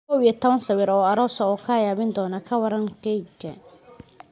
11 sawir oo aroos ah oo kaa yaabin doona Ka waran keega?